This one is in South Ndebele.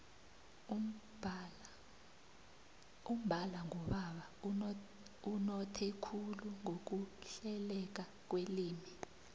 umbala ngubaba unothe khulu ngokuhleleka kwelimi